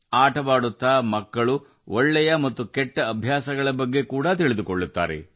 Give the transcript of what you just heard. ಆಟದ ಮೂಲಕ ಮಕ್ಕಳು ಒಳ್ಳೆಯ ಮತ್ತು ಕೆಟ್ಟ ಅಭ್ಯಾಸಗಳನ್ನು ಕಲಿಯುತ್ತಿದ್ದಾರೆ